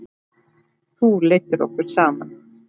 Þú leiddir okkur saman.